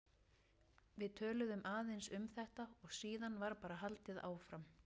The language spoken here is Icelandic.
Við töluðum aðeins um þetta og síðan var bara haldið áfram.